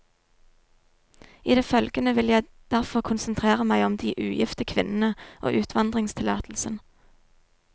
I det følgende vil jeg derfor konsentrere meg om de ugifte kvinnene og utvandringstillatelsen.